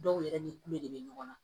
Dɔw yɛrɛ ni kulo de bɛ ɲɔgɔn na